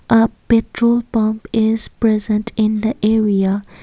a petrol pump is present in the area.